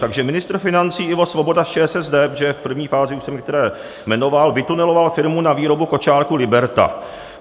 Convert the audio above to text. Takže ministr financí Ivo Svoboda z ČSSD, protože v první fázi už jsem některé jmenoval, vytuneloval firmu na výboru kočárků Liberta.